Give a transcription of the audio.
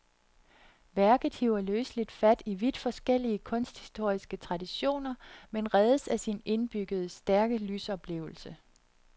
Værket hiver løseligt fat i vidt forskellige kunsthistoriske traditioner, men reddes af sin indbyggede, stærke lysoplevelse.